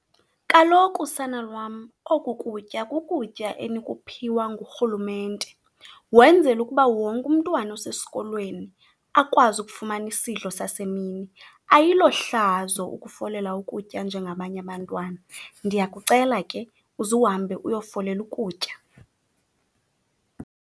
Kaloku, sana lwam, oku kutya kukutya enikuphiwa ngurhulumente, wenzela ukuba wonke umntwana osesikolweni akwazi ukufumana isidlo sasemini. Ayilo hlazo ukufolela ukutya njengabanye abantwana, ndiyakucela ke uzuhambe uyofolela ukutya.